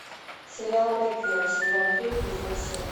сериал реквием сезон три эпизод семь